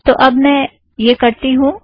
तो अब मैं यह करती हूँ